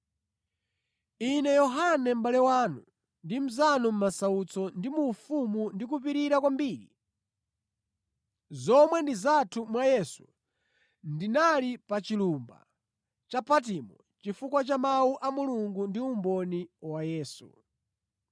Ine Yohane mʼbale wanu ndi mnzanu mʼmasautso ndi mu ufumu ndi mukupirira kwambiri, zomwe ndi zathu mwa Yesu, ndinali pa chilumba cha Patimo chifukwa cha Mawu a Mulungu ndi umboni wa Yesu.